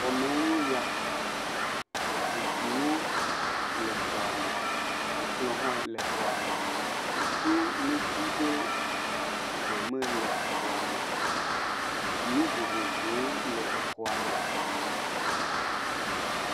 Xɔ mee nye ya, zikpuiwo le xɔa me, ekplɔ hã le xɔa me, wodo neti ɖe ze me le xɔa me, nu vovovowo le exɔa me.